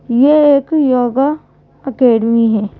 यह एक yoga academy है।